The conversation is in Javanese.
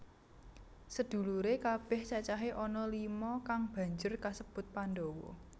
Sedhuluré kabèh cacahé ana lima kang banjur sinebut Pandhawa